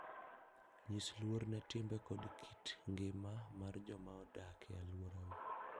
Nyis luor ne timbe kod kit ngima mar joma odak e alworau.